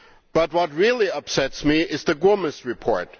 But what really upsets me is the Gomes report.